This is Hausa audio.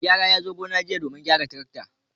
Mai gyara ya zo gona jiya domin gyara traktor.